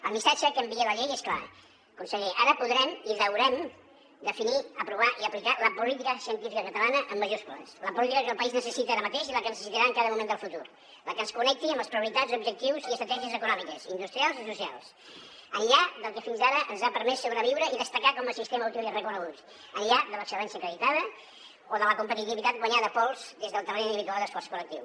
el missatge que envia la llei és clar conseller ara podrem i haurem de definir aprovar i aplicar la política científica catalana amb majúscules la política que el país necessita ara mateix i la que necessitarà en cada moment del futur la que ens connecti amb les prioritats objectius i estratègies econòmiques industrials i socials enllà del que fins ara ens ha permès sobreviure i destacar com a sistema útil i reconegut enllà de l’excel·lència acreditada o de la competitivitat guanyada a pols des del talent individual i l’esforç col·lectiu